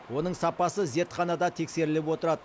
оның сапасы зертханада тексеріліп отырады